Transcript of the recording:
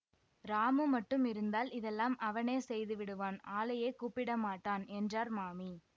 ராமு மட்டும் இருந்தால் இதெல்லாம் அவனே செய்து விடுவான் ஆளையே கூப்பிட மாட்டான் என்றார் மாமி